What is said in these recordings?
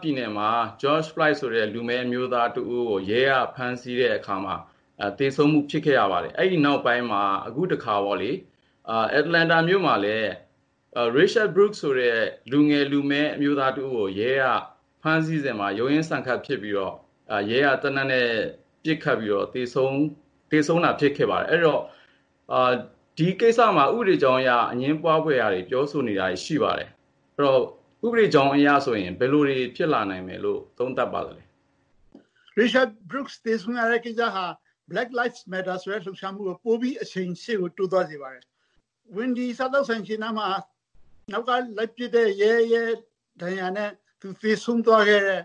ပြည်နယ်မှာ လူမည်းအမျိုးသား George Floyd ကို ရဲက ဖမ်းဆီးတဲ့အခါမှာ သေဆုံးမှု ဖြစ်ခဲ့ရပါတယ်။ အဲဒီနောက်ပိုင်း အခုတခါ Atlanta မြို့မှာ Rayshard Brooks ဆိုတဲ့ လူငယ်လူမည်းအမျိုးသားတဦးကို ရဲကဖမ်းဆီးစဉ် ရုန်းရင်းဆန်ခတ်ဖြစ်ပြီးတော့ ရဲက သေနတ်နဲ့ ပစ်ပြီးတော့ သေဆုံးတာ ဖြစ်ခဲ့ပါတယ်။ အဲဒီတော့ ဒီကိစ္စမှာ ဥပဒေကြောင်းအရ အငြင်းပွားဖွယ် ပြောဆိုနေတာတွေရှိပါတယ်။ ဒီတော့ ဥပဒေကြောင်းအရဆိုရင် ဘယ်လိုတွေ ဖြစ်လာနိုင်မယ်လို့ သုံးသပ်ပါသလဲ။ ဦးကျော်ဇံသာ။ ။ Rayshard Brooks သေဆုံးရတဲ့ ကိစ္စဟာ Black Lives Matter ဆိုတဲ့လှုပ်ရှားမှုကို ပိုပြီး ရှေ့ကို အရှိန် တိုးသွား စေပါတယ်။ Wendy စားသောက်ဆိုင်ရှေ့နားမှာ နောက်က လိုက်ပစ်တဲ့ ရဲရဲ့ ဒဏ်ရာနဲ့အတူ သေဆုံးသွားခဲ့တဲ့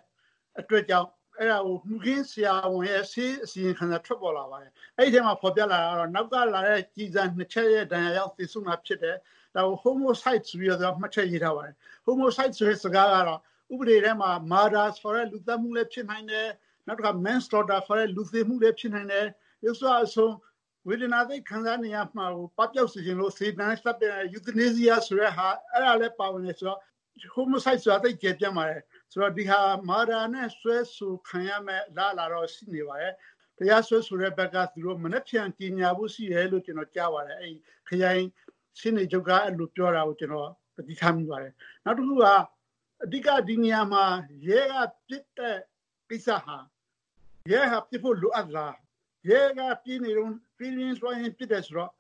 အတွက်ကြောင့် အဲဒါကို မှုခင်းဆရာဝန်ရဲ့ ဆေးစစ်ချက် အစီရင်ခံစာ ထွက်ပေါ်လာပါတယ်။ အဲဒီထဲမှာ ဖော်ပြတာကတော့ နောက်ကလာတဲ့ ကျည်ဆန် ၂ ချက်ရဲ့ ဒဏ်ရာကြောင့် သေဆုံးတာဖြစ်တယ်။ ဒါကို homicide ဆိုပြီးတော့ သူက မှတ်ချက်ရေး ထားပါတယ်။ homicide ဆိုတဲ့စကားကတော့ ဥပဒေထဲမှာ Murder ဆိုတဲ့ လူသတ်မှုလည်း ဖြစ်နိုင်တယ်။ နောက်တခါ Man Slaughter ခေါ်တဲ့ လူသေမှုလည်း ဖြစ်နိုင်တယ်။ ရုပ်စွအဆုံး ဝေဒနာ သိပ်ခံစားနေရမှာကို ပပျောက်အောင်လို့ စေတနာနဲ့ သတ်လိုက်တာ Euthanasia ဆိုတာ အဲဒါလည်းပါတာ ဆိုတော့ homicide ဆိုတာ သိပ်ကျယ်ပြန့်ပါတယ်။ ဆိုတော့ ဒါက Murder နဲ့ စွဲဆိုခံရမယ့်အလားအလာတော့ ရှိနေပါတယ်။ တရားစွဲဆိုတဲ့ဘက်က မနက်ဖြန်ကြေညာဖို့ရှိတယ်လို့ ကျနော်ကြားပါတယ်။ ခရိုင်ရှေ့နေချုပ်က အဲလိုပြောတာကို ကျနေ်ာ သတိထားမိပါတယ်။ နောက်တခုက အဓိက ဒီနေရာမှာ ရဲကပစ်တဲ့ကိစ္စက ရဲဟာ ပစ်ဖို့လိုအပ်သလား ၊ ရဲက ပြေးနေတုန်း ပြေးရင်းလွှားရင်း ပစ်တယ်ဆိုတော့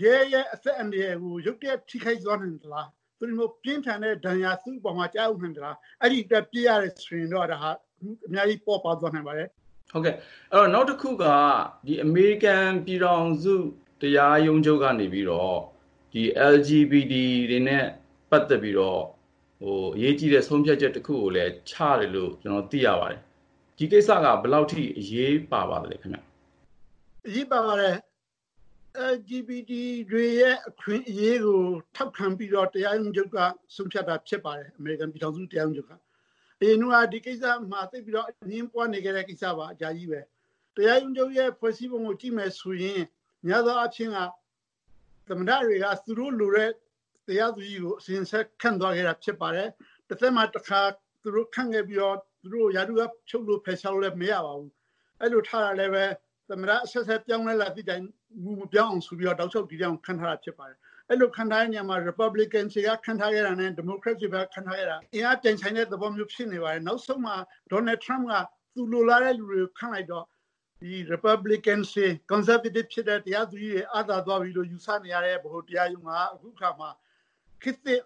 ရဲရဲ့ အသက်အန္တရာယ်ကို ရုတ်တရက် ထိခိုက်သွားနိုင်လို့လား ၊ သို့မဟုတ် ပြင်းထန်တဲ့ ဒဏ်ရာ သူ့အပေါ်မှာ ကျရောက်နိုင်လို့လား အဲဒီအတွက် ပစ်ရတယ်ဆိုရင်တော့ ဒါဟာ အမှုမှာ အများကြီး ပေါ့ပါးသွားနိုင်ပါတယ်။ ကိုဉာဏ်ဝင်းအောင်။ ။ နောက်တခုက အမေရိကန်ပြည်ထောင်စု တရားရုံးချုပ် ကနေပြီးတော့ LGBT တွေနဲ့ ပတ်သက်ပြီးတော့ အရေးကြီးတဲ့ ဆုံးဖြတ်ချက်တခုကို ချတယ်လို့ ကျနော်သိရပါတယ်။ ဒီကိစ္စက ဘယ်လောက်အထိ အရေးပါပါသလဲခင်ဗျ။ ဦးကျော်ဇံသာ။ ။ အရေးပါပါတယ် LGBT တွေရဲ့ အခွင့်အရေးကို ထောက်ခံပြီးတော့ အမေရိကန်ပြည်ထောင်စု တရားရုံးချုပ်က ဆုံးဖြတ်တာဖြစ်ပါတယ်။ အရင်တုန်းက ဒီကိစ္စဟာ သိပ်ပြီးတော့ အငြင်းပွားနေတဲ့ ကိစ္စပါ အများကြီးပဲ။ တရားရုံးချုပ်ရဲ့ ဖွဲ့စည်းပုံကို ကြည့်မယ်ဆိုရင် များသောအားဖြင့် သမ္မတတွေက သူတို့လိုလားတဲ့ တရားသူကြီးကို အစဉ်အဆက် ခန့်သွားခဲ့တာဖြစ်ပါတယ်။ တသက်မှာတခါ သူတို့ခန့်ခဲ့ပြီးတော့ သူတို့ကို ရာထူးက ဖြုတ်လို့ ၊ ဖယ်ရှားလို့လည်း မရပါဘူး။ အဲလိုထားတာက လည်း သမ္မတအဆက်ဆက် ပြောင်းလဲလာသည့်တိုင် မူမပြောင်းအောင်ဆိုပြီးတော့ တောက်လျောက်ခန့်ထားတာဖြစ်ပါတယ်။ အဲဒီလို ခန့်တဲ့နေရာမှာ Republican တွေက ခန့်ထားခဲ့သူတွေနဲ့ ဒီမိုကရက်တွေက ခန့်ခဲ့သူတွေ အင်အားပြိုင်ဆိုင်တဲ့ သဘောမျိုးဖြစ်နေပါတယ်။ နောက်ဆုံးမှာ Donald Trump က သူလိုလားတဲ့ သူတွေကို ခန့်လိုက်တော့ Republican တွေ၊ conservative ဖြစ်တဲ့ တရားသူကြီးတွေ အားသာ သွားပြီလို့ ယူဆနေရတဲ့ ဗဟိုတရားရုံးက အခုအခါမှာ ခေတ်သစ်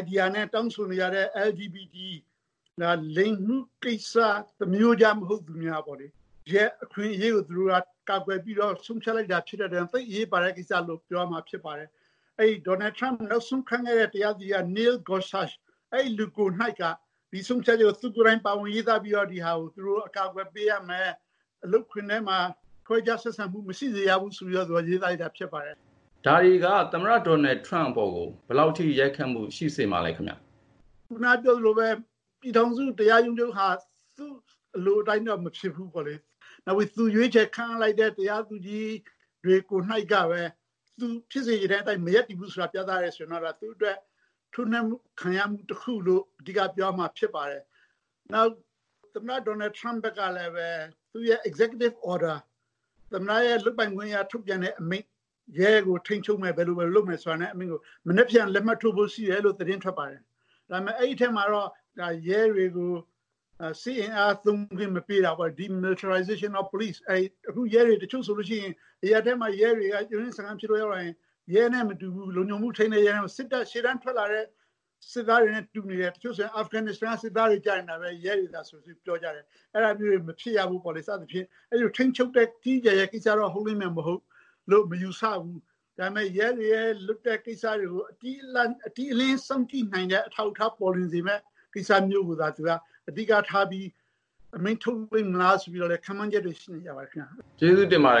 Idea နဲ့ တောင်းဆိုနေတဲ့ LGBT လိင်မှုကိစ္စ သမာရိုးကျ မဟုတ်သူများပေါ့လေ ၊ သူတို့ရဲ့ အခွင့်အရေးကို ကာကွယ်ပြီးတော့ ဆုံးဖြတ်လိုက်တာဖြစ်တဲ့အတွက် သိပ်ပြီး အရေးပါတဲ့ ကိစ္စလို့ ပြောရမှာ ဖြစ်ပါတယ်။ Donald Trump နောက်ဆုံးခန့်ခဲ့တဲ့ Neil Gorsuch ကိုယ်တိုင် ဒီဆုံးဖြတ်ချက်ကို သူကိုယ်တိုင် ပါဝင်ရေးသားပြီးတော့ ဒါကို သူတို့ အကာအကွယ်ပေးရမယ် အလုပ်ခွင်ထဲမှာ ခွဲခြားဆက်ဆံမှု မရှိစေရဘူး ဆိုပြီးတော့ သူရေးသားလိုက်တာဖြစ်ပါတယ်။ ကိုဉာဏ်ဝင်းအောင်။ ။ ဒါတွေက သမ္မတ Donald Trump အပေါ်ကို ဘယ်လောက်အထိ ရိုက်ခတ်မှု ရှိစေမှာလဲခင်ဗျ။ ဦးကျော်ဇံသာ။ ။ ခုနကပြောသလိုပဲ ပြည်ထောင်စု တရားရုံးချုပ်ဟာ သူ့အလိုအတိုင်းတော့ မဖြစ်ဘူးပေါ့လေ။ နောက်ပြီးတော့ သူရွေးချယ်ခန့်အပ်လိုက်တဲ့ တရားသူကြီးတေ ွ ကိုယ်တိုင်က သူဖြစ်စေချင်တဲ့အတိုင်း မရပ်တည်ဘူးဆိုတာ ပြသတယ်ဆိုရင်တော့ သူ့အတွက် ထိုးနှက်ခံရမှု တခုလို့ အဓိက ပြောရမှာဖြစ်ပါတယ်။ နောက် သမ္မတ Donald Trump ကလည်း သူ့ executive order သမ္မတ လုပ်ပိုင်ခွင့်အရ ထုတ်ပြန်တဲ့အမိန့် ရဲတွေကို ထိန်းချုပ်မယ် ဘယ်လို ဘယ်လို လုပ်မယ် ဆိုတဲ့အမိန့်ကို မနက်ဖြန် လက်မှတ်ထိုးဖို့ရှိတယ်ဆိုပြီး သတင်းထွက်ပါတယ်။ ဒါပေမယ့် အဲဒီထဲမှာတော့ ရဲတွေကို စစ်အင်အားသုံးခွင့်မပေးတာပေါ့လေ DeMilitarization of police ပေါ့ ။ အခု ရဲတွေဟာ တချို့ဆိုလို့ရှိရင် အရပ်ထဲမှာ ရုန်းရင်းဆန်ခတ်ဖြစ်လို့ ရဲတွေ ရောက်လာရင် ရဲက လုံခြုံမှုထိန်းတဲ့ ရဲနဲ့မတူဘူး ၊ ရှေ့တန်းထွက်လာတဲ့ စစ်သားတွေနဲ့ တူနေတယ် တချို့ဆိုရင် Afghanistan က စစ်သားတွေ ကျနေတာပဲ ရဲတွေကဆိုပြီး ပြောကြတယ်။ အဲဒါမျိုးတွေ မဖြစ်ရဘူးပေါ့လေ စသဖြင့်ပေါ့ ။ ဒါပေမယ့် ရဲတွေရဲ့ လုပ်ရပ်ကို အတိအလင်းစောင့်ကြည့်နိုင်တဲ့ အထောက်အထား ပေါ်လွင်စေမယ့် ကိစ္စမျိုးကိုသာ အဓိကထားပြီး အမိန့်ထုတ် မလားဆိုပြီးတော့ ခန့်မှန်းချက်တွေ ရှိနေပါတယ်။ ကိုဉာဏ်ဝင်းအောင်။ ။ကျေးဇူးတင်ပါတယ်